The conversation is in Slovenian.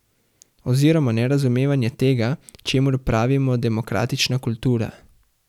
Oziroma nerazumevanje tega, čemur pravimo demokratična kultura.